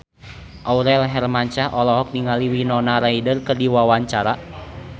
Aurel Hermansyah olohok ningali Winona Ryder keur diwawancara